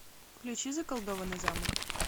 включи заколдованный замок